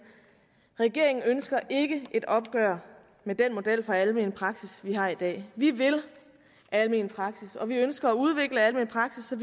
regeringen ønsker ikke et opgør med den model for almen praksis vi har i dag vi vil almen praksis og vi ønsker at udvikle almen praksis så